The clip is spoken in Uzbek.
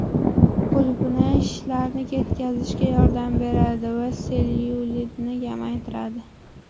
Qulupnay shishlarni ketkazishga yordam beradi va sellyulitni kamaytiradi.